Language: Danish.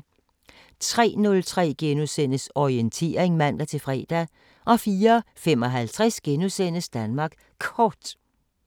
03:03: Orientering *(man-fre) 04:55: Danmark Kort *